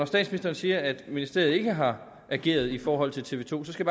statsministeren siger at ministeriet ikke har ageret i forhold til tv to skal